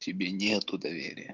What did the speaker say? тебе нету доверия